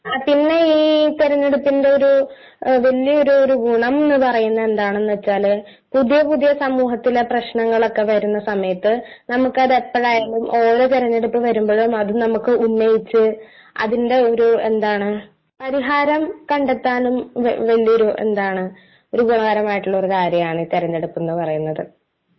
ആ പിന്നെ ഈ തിരഞ്ഞെടുപ്പിന്റെ ഒരു വല്യൊരു ഗുണമെന്നുപറയുന്നത് എന്താണെന്നുവച്ചാല് പുതിയ പുതിയ സമൂഹത്തിലെ പ്രശ്നങ്ങളൊക്കെ വരുന്ന സമയത്തു നമുക്കത് എപ്പോഴായാലും ഓരോ തിരഞ്ഞെടുപ്പ് വരുമ്പോഴും അത് നമുക്ക് ഉന്നയിച്ചു അതിൻ്റെ ഒരു എന്താണ് പരിഹാരം കണ്ടെത്താനും വല്യൊരു എന്താണ് ഉപകാരമായിട്ടുള്ള ഒരു കാര്യമാണ് ഈ തിരഞ്ഞെടുപ്പ് എന്നുപറയുന്നത്